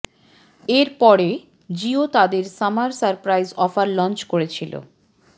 এর পরে জিও তাদের সামার সারপ্রাইজ অফার লঞ্চ করেছিল